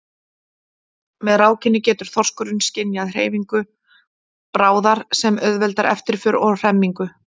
Með rákinni getur þorskurinn skynjað hreyfingu bráðar sem auðveldar eftirför og hremmingu.